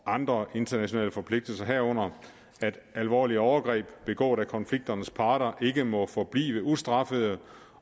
andre internationale forpligtelser herunder at alvorlige overgreb begået af konfliktens parter ikke må forblive ustraffede